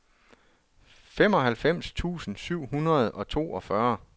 femoghalvfems tusind syv hundrede og toogfyrre